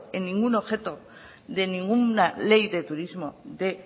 en ningún objeto de ninguna ley de turismo de